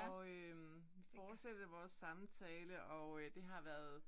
Og øh fortsætter vores samtale og øh det har været